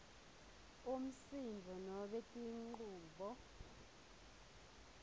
umsindvo nobe tinchubo